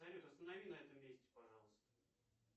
салют останови на этом месте пожалуйста